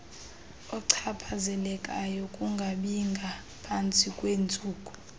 ochaphazelekayo kungabingaphantsi kweentsuku